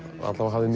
hafði